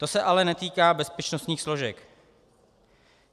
To se ale netýká bezpečnostních složek.